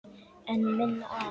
En minna af?